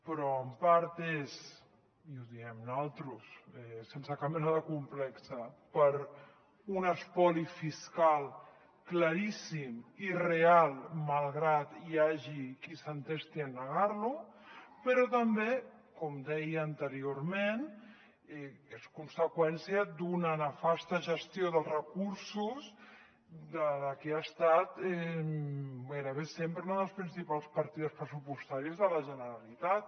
però en part és i ho diem nosaltres sense cap mena de complex per un espoli fiscal claríssim i real malgrat que hi hagi qui s’entesti a negar lo però també com deia anteriorment és conseqüència d’una nefasta gestió dels recursos de la que ha estat gairebé sempre una de les principals partides pressupostàries de la generalitat